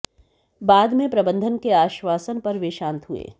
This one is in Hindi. बाद में प्रबंधन के आश्वासन पर वे शांत हुए